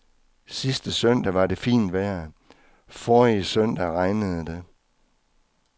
Sidste søndag var det fint vejr, forrige søndag regnede det.